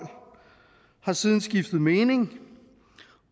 har siden skiftet mening